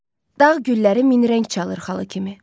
Dağ gülləri min rəng çalır xalı kimi.